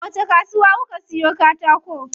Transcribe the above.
A wacce kasuwa kuka siyo katako?